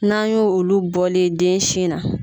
N'an y' o olu bɔlen yen den sin na.